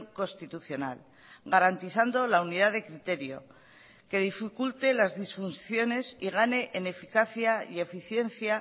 constitucional garantizando la unidad de criterio que dificulte las disfunciones y gane en eficacia y eficiencia